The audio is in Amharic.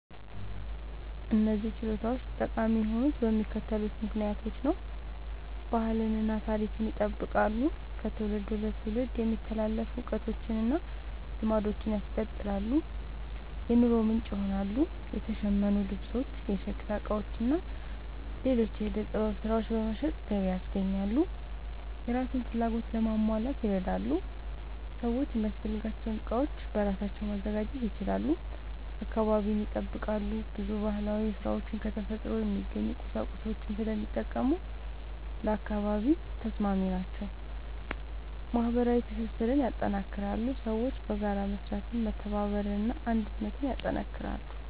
እነዚህ ችሎታዎች ጠቃሚ የሆኑት በሚከተሉት ምክንያቶች ነው፦ ባህልን እና ታሪክን ይጠብቃሉ – ከትውልድ ወደ ትውልድ የሚተላለፉ እውቀቶችን እና ልማዶችን ያስቀጥላሉ። የኑሮ ምንጭ ይሆናሉ – የተሸመኑ ልብሶች፣ የሸክላ ዕቃዎች እና ሌሎች የዕደ ጥበብ ሥራዎች በመሸጥ ገቢ ያስገኛሉ። የራስን ፍላጎት ለማሟላት ይረዳሉ – ሰዎች የሚያስፈልጋቸውን ዕቃዎች በራሳቸው ማዘጋጀት ይችላሉ። አካባቢን ይጠብቃሉ – ብዙ ባህላዊ ሥራዎች ከተፈጥሮ የሚገኙ ቁሳቁሶችን ስለሚጠቀሙ ለአካባቢ ተስማሚ ናቸው። ማህበረሰባዊ ትስስርን ያጠናክራሉ – ሰዎች በጋራ በመስራት መተባበርን እና አንድነትን ያጠናክራሉ።